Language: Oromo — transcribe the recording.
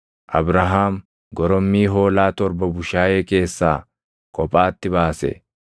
Abrahaam gorommii hoolaa torba bushaayee keessaa kophaatti baase;